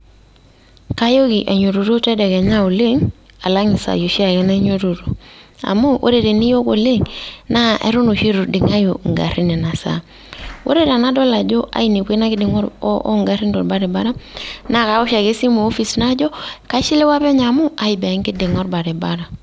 Kayooki ainyototo tedekenya oleng' alang' isaai oshiake nainyototo. Amu ore teniyok oleng',na eton oshi eitu iding'ayu igarrin inasaa. Ore tenadol ajo ainepua ina kiding'a o garrin to baribara, na kawosh ake esimu opis najo, kaishiliwa penyo amu aiboo ekiding'a orbaribara.